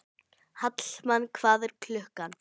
Hallmann, hvað er klukkan?